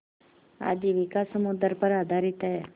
आजीविका समुद्र पर आधारित है